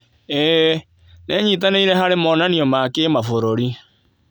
ĩĩ, nĩ nyitanĩire harĩ monanio ma kĩmabũrũri